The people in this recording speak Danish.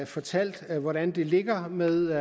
fortalt hvordan det ligger med